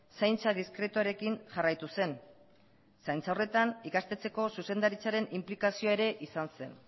zaintza diskretuarekin jarraitu zen zaintza horretan ikastetxeko zuzendaritzaren inplikazioa ere izan zen